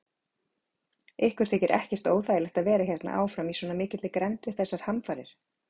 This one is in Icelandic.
Ykkur þykir ekkert óþægilegt að vera hérna áfram í svona mikilli grennd við þessar hamfarir?